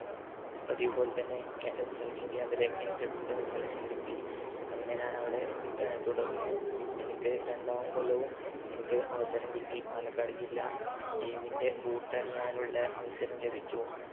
പതിവു പോലെതന്നെ കെ ആഹ് selection camp ലേക്ക് എനിക്ക് ഏർ selection കിട്ടി അങ്ങനെ ഞാൻ അവിടെ ഏർ തുടർന്നു എനിക്ക് രണ്ടാം കൊല്ലവും എനിക്ക് അവസരം കിട്ടി പാലക്കാട് ജില്ലാ team ൻ്റെ boot അണിയാനുള്ള അവസരം ലഭിച്ചു